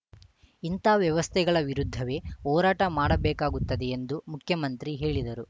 ಇಂಥ ವ್ಯವಸ್ಥೆಗಳ ವಿರುದ್ಧವೇ ಹೋರಾಟ ಮಾಡಬೇಕಾಗುತ್ತದೆ ಎಂದು ಮುಖ್ಯಮಂತ್ರಿ ಹೇಳಿದರು